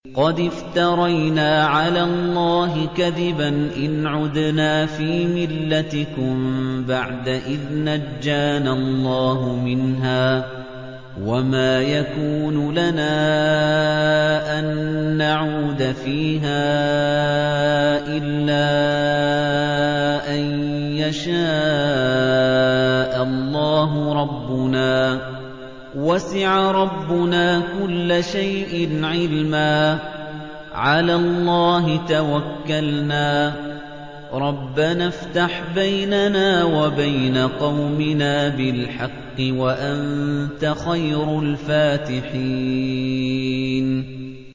قَدِ افْتَرَيْنَا عَلَى اللَّهِ كَذِبًا إِنْ عُدْنَا فِي مِلَّتِكُم بَعْدَ إِذْ نَجَّانَا اللَّهُ مِنْهَا ۚ وَمَا يَكُونُ لَنَا أَن نَّعُودَ فِيهَا إِلَّا أَن يَشَاءَ اللَّهُ رَبُّنَا ۚ وَسِعَ رَبُّنَا كُلَّ شَيْءٍ عِلْمًا ۚ عَلَى اللَّهِ تَوَكَّلْنَا ۚ رَبَّنَا افْتَحْ بَيْنَنَا وَبَيْنَ قَوْمِنَا بِالْحَقِّ وَأَنتَ خَيْرُ الْفَاتِحِينَ